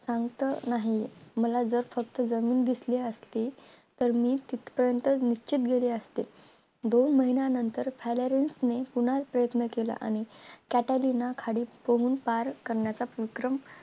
शांत नाही. मला जर फक्त जमीन दिसली असती तर मी तिथं पर्यंत निश्चित गेले असते. दोन महिन्यानंतर फैर्यारिसने पुन्हा प्रयत्न केला आणि कैटलिन खाली पोहून पार करण्याचा विक्रम